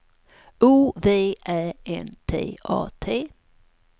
O V Ä N T A T